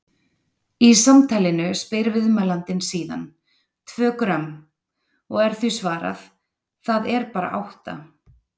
Í samtalinu spyr viðmælandinn síðan: Tvö grömm? og er því svarað: Það er bara átta.